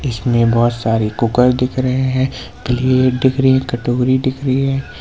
इसमें बहोत सारी कुकर दिख रहे हैं प्लेट दिख रही है कटोरी दिख रही है।